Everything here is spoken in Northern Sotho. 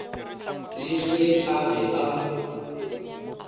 le ge a be a